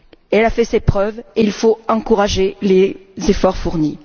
Elle a fait ses preuves et il faut encourager les efforts fournis.